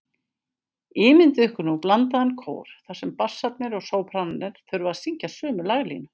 Ímyndið ykkur nú blandaðan kór þar sem bassarnir og sópranarnir þurfa að syngja sömu laglínu.